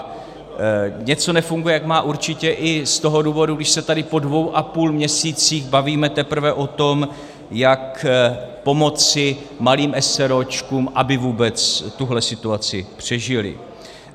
A něco nefunguje, jak má, určitě i z toho důvodu, když se tady po dvou a půl měsících bavíme teprve o tom, jak pomoci malým eseróčkům, aby vůbec tuto situaci přežily.